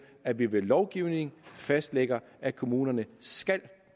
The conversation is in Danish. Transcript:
at vi ved lovgivning fastlægger at kommunerne